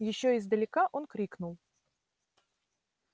ещё издалека он крикнул